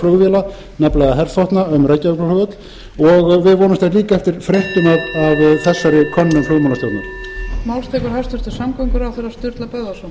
flugvéla nefnilega herþotna um reykjavíkurflugvöll og við vonumst líka eftir fréttum af þessar könnun flugmálastjóarn